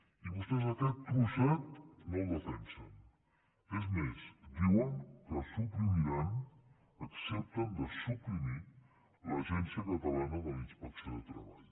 i vostès aquest trosset no el defensen és més diuen que suprimiran accepten de suprimir l’agència catalana d’inspecció de treball